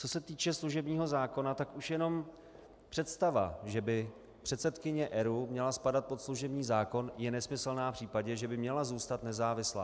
Co se týče služebního zákona, tak už jenom představa, že by předsedkyně ERÚ měla spadat pod služební zákon, je nesmyslná v případě, že by měla zůstat nezávislá.